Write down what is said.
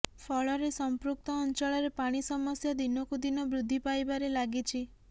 ଫଳରେ ସମ୍ପୃକ୍ତ ଅଞ୍ଚଳରେ ପାଣି ସମସ୍ୟା ଦିନକୁ ଦିନ ବୃଦ୍ଧି ପାଇବାରେ ଲାଗିଛି